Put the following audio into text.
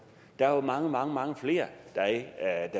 der er mange mange mange flere der